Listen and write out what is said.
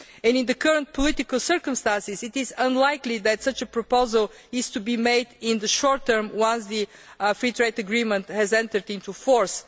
In the current political circumstances, it is unlikely that such a proposal is to be made in the short term, once the free trade agreement has entered into force.